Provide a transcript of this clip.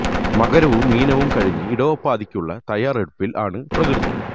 മകരവും മീനവും കഴിഞ്ഞു ഇടവപ്പാതിക്ക് ഉള്ള തയ്യാറെടുപ്പിൽ ആണ് പ്രകൃതി